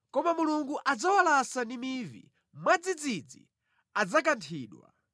Koma Mulungu adzawalasa ndi mivi; mwadzidzidzi adzakanthidwa.